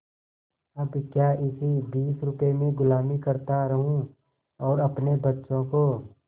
अब क्या इसी बीस रुपये में गुलामी करता रहूँ और अपने बच्चों को